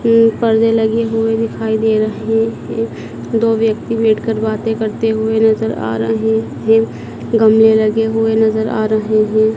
ये पर्दे लगे हुए दिखाई दे रहे हैं एक दो व्यक्ति बैठ कर बातें करते हुए नजर आ रहे हैं गमले लगे हुए नजर आ रहे हैं।